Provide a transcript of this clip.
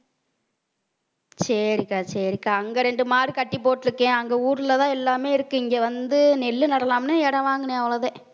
சரிக்கா சரிக்கா. அங்க ரெண்டு மாடு கட்டிப் போட்டிருக்கேன் அங்க ஊர்லதான் எல்லாமே இருக்கு இங்க வந்து நெல்லு நடலாம்னு இடம் வாங்கினேன் அவ்வளவுதான்